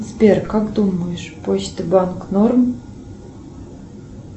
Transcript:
сбер как думаешь почта банк норм